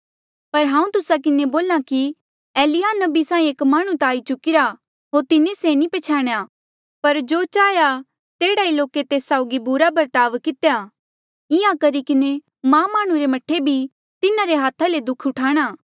पर हांऊँ तुस्सा किन्हें बोल्हा कि एलिय्याह नबी साहीं एक माह्णुं ता आई चुकिरा होर तिन्हें से नी पछ्याणेया पर जो चाहेया तेह्ड़ा ईं लोके तेस साउगी बुरा बर्ताव कितेया इंहां करी किन्हें मां माह्णुं रे मह्ठे भी तिन्हारे हाथा ले दुःख उठाणा